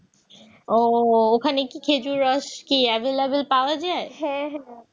ওখানে কি খেজুরের রস available পাওয়া যায়